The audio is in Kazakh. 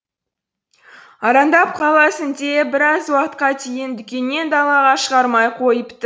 арандап қаласың деп біраз уақытқа дейін дүкеннен далаға шығармай қойыпты